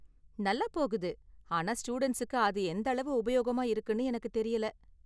நல்லா போகுது, ஆனா ஸ்டூடண்ட்ஸுக்கு அது எந்த அளவு உபயோகமா இருக்குனு எனக்கு தெரியல.